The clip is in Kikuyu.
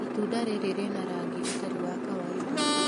Itunda rĩrĩ rĩna rangi ũtarĩ wa kawainda.